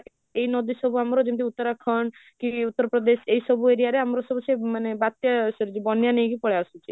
ଏଇ ନଦୀ ସବୁ ଆମର ଯେମିତି ଉତ୍ତରାଖଣ୍ଡ କି ଉତ୍ତର ପ୍ରଦେଶ ଏଇ ସବୁ area ରେ ଆମର ସବୁ ସେ ମାନେ ବାତ୍ୟା sorry ବନ୍ୟା ନେଇକି ପଳେଈ ଆସୁଛି